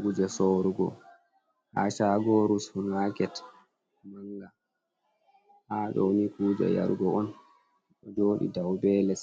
Kuje soorugo haa caagoru supamaket mannga, haa ɗooni kuje yarugo on, ɗo jooɗi dow be les.